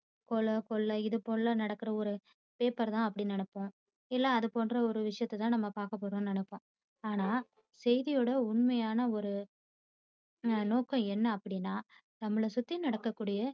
கொலை கொள்ளை இதுபோல நடக்குற ஒரு paper தான் அப்படினு நினைப்போம். இல்ல அது போன்ற ஒரு விஷயத்தை தான் நம்ம பாக்கப்போறோம்னு நினைப்போம். ஆனா செய்தியோட உண்மையான ஒரு நோக்கம் என்ன அப்படினா நம்மள சுத்தி நடக்கக்கூடிய